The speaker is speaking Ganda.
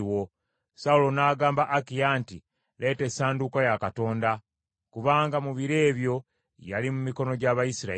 Sawulo n’agamba Akiya nti, “Leeta essanduuko ya Katonda,” kubanga mu biro ebyo yali mu mikono gy’Abayisirayiri.